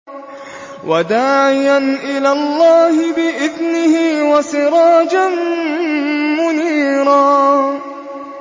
وَدَاعِيًا إِلَى اللَّهِ بِإِذْنِهِ وَسِرَاجًا مُّنِيرًا